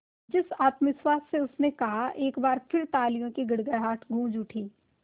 जिस आत्मविश्वास से उसने कहा एक बार फिर तालियों की गड़गड़ाहट गूंज उठी